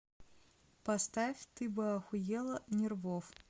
поставь ты бы охуела нервов